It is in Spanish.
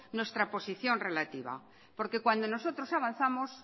nuestra posición relativa porque cuando nosotros avanzamos